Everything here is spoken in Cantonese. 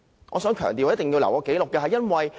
我要強調，我必須留下紀錄。